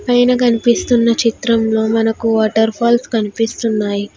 పైన కనిపిస్తున్న చిత్రంలో మనకు వాటర్ ఫాల్స్ కనిపిస్తున్నాయి.